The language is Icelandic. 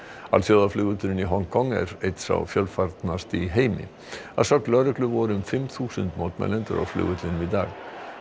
alþjóðaflugvöllurinn í Hong Kong er einn sá fjölfarnasti í heimi að sögn lögreglu voru um fimm þúsund mótmælendur á flugvellinum í dag